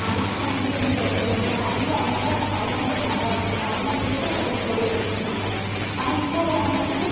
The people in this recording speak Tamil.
maximum வந்து, என்னது செய்வாங்க? அவங்க, அவங்க, அவங்கவங்க சம்பாதிக்கணும். அவங்கவங்களுக்கு, ஒவ்வொரு தொழில் வச்சிருப்பாங்க ஆனா, இப்ப உள்ளவங்க வந்து,